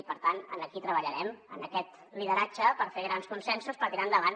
i per tant aquí treballarem en aquest lideratge per fer grans consensos per tirar endavant